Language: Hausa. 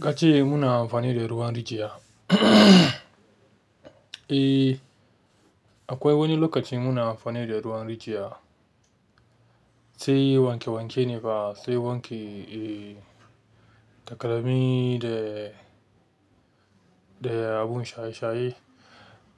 Nace muna amfani da ruwan rijiya. Uhnnmmm. Eh, akwai wani lokacin muna amfani da ruwan rijiya, sai wanke wanke ne ba sai wanke takalmi da, da abun shaye shaye.